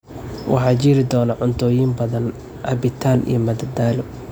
Waxaa jiri doona cuntooyin badan, cabitaan iyo madadaalo.